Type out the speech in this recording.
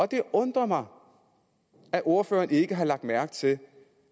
det undrer mig at ordføreren ikke har lagt mærke til